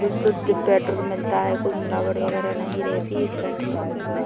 कुछ सुद्ध पेट्रोल मिलता है कोई मिलावट वगेरा नहीं रहती है इस पेट्रोल पंप मे--